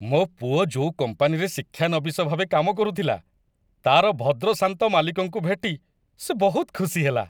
ମୋ ପୁଅ ଯୋଉ କମ୍ପାନୀରେ ଶିକ୍ଷାନବିଶ ଭାବେ କାମ କରୁଥିଲା, ତା'ର ଭଦ୍ରଶାନ୍ତ ମାଲିକଙ୍କୁ ଭେଟି ସେ ବହୁତ ଖୁସି ହେଲା।